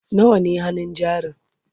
nawa ne hannun jarin?